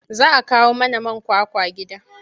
Za a kawo mana man kwakwa gida.